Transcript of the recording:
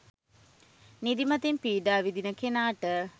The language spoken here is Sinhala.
නිදිමතින් පීඩා විඳින කෙනාට